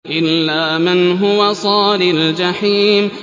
إِلَّا مَنْ هُوَ صَالِ الْجَحِيمِ